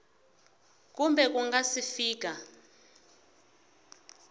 kumbe ku nga si fika